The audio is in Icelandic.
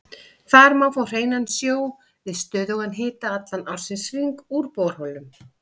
Þar má fá hreinan sjó við stöðugan hita allan ársins hring úr borholum.